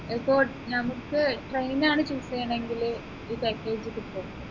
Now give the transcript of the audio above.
ഇപ്പൊ നമുക്ക് train ആണ് choose ചെയ്യുന്നുണ്ട് എങ്കില് ഈ package കിട്ടുമോ